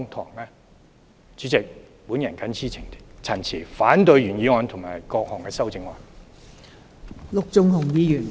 代理主席，我謹此陳辭，反對原議案和各項修正案。